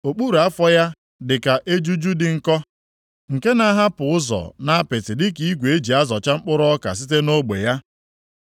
Okpuru afọ ya dị ka ejuju dị nkọ, nke na-ahapụ ụzọ nʼapịtị dịka igwe eji azọcha mkpụrụ ọka site nʼogbe ya.